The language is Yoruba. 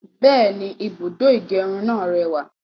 Bẹ́ẹ̀ni, ibùdó ìgẹrun náà rẹwà